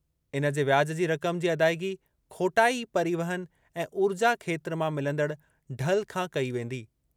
इन जे वियाज जी रक़म जी अदाइगी खोटाई, परिवहन ऐं ऊर्जा खेत्र मां मिलंदड़ ढल खां कई वेंदी।